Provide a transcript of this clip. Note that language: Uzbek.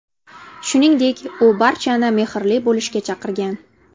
Shuningdek, u barchani mehrli bo‘lishga chaqirgan.